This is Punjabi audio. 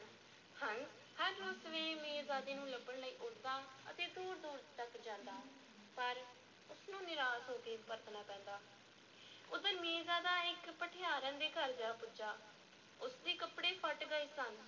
ਹੰਸ ਹਰ ਰੋਜ਼ ਸਵੇਰੇ ਮੀਰਜ਼ਾਦੇ ਨੂੰ ਲੱਭਣ ਲਈ ਉੱਡਦਾ ਅਤੇ ਦੂਰ-ਦੂਰ ਤੱਕ ਜਾਂਦਾ, ਪਰ ਉਸ ਨੂੰ ਨਿਰਾਸ਼ ਹੋ ਕੇ ਪਰਤਣਾ ਪੈਂਦਾ, ਉੱਧਰ ਮੀਰਜ਼ਾਦਾ ਇੱਕ ਭਠਿਆਰਨ ਦੇ ਘਰ ਜਾ ਪੁੱਜਾ ਉਸ ਦੇ ਕੱਪੜੇ ਫਟ ਗਏ ਸਨ।